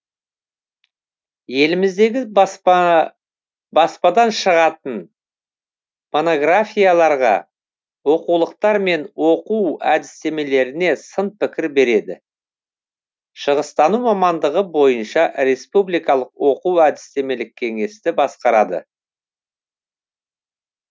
еліміздегі баспадан шығатын монографияларға оқулықтар мен оқу әдістемелеріне сын пікір береді шығыстану мамандығы бойынша республикалық оқу әдістемелік кеңесті басқарады